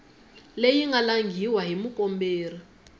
leyi nga langhiwa hi mukomberi